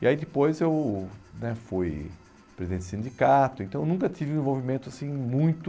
E aí depois eu né fui presidente de sindicato, então eu nunca tive um envolvimento assim muito...